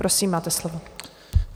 Prosím, máte slovo.